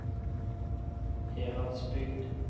Heradsbygd